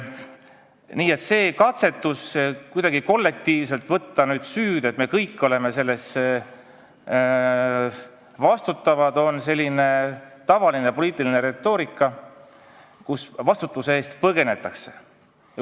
Nii et see katse süüd kuidagi kollektiivselt võtta, et me kõik oleme selle eest vastutavad, on tavaline poliitiline retoorika, kui vastutuse eest põgenetakse.